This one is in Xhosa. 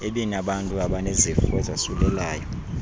ebinabantu abanezifo ezasulelayo